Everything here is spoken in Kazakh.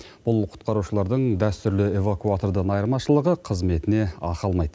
бұл құтқарушылардың дәстүрлі эвакуатордан айырмашылығы қызметіне ақы алмайды